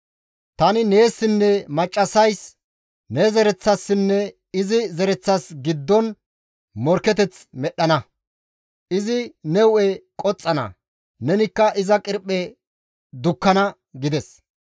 Tani neessinne maccassays, ne zereththassinne izi zereththas giddon morkketeth medhdhana; izi ne hu7e qoxxana; nenikka iza qirphe dukkana» gides.